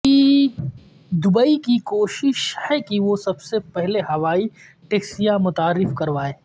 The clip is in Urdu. دبئی کی کوشش ہے کہ وہ سب سے پہلے ہوائی ٹیکسیاں متعارف کروائے